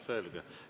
Selge.